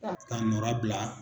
k'a nɔra bila.